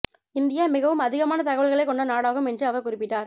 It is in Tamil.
இந்தியா மிகவும் அதிகமான தகவல்களைக் கொண்ட நாடாகும் என்று அவர் குறிப்பிட்டார்